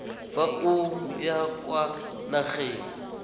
fa o ya kwa nageng